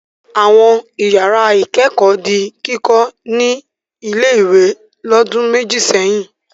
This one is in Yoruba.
Àwọn ìyàrá-ìkẹ́kọ̀ọ́ di kíkọ́ ní ilé-ìwé lọ́dún méjì sẹ́yìn.